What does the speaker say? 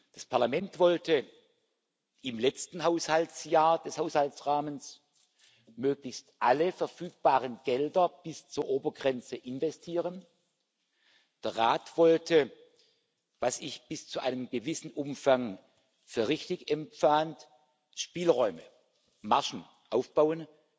Das Parlament wollte im letzten Haushaltsjahr des Haushaltsrahmens möglichst alle verfügbaren Gelder bis zur Obergrenze investieren, der Rat wollte was ich bis zu einem gewissen Umfang als richtig empfand Spielräume, Margen aufbauen